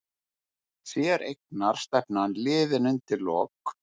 Séreignarstefnan liðin undir lok